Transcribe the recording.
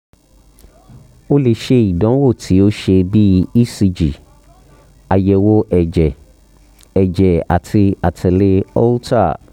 o le ṣe idanwo ti o ṣe bi ecg ayẹwo ẹjẹ ẹjẹ ati atẹle holter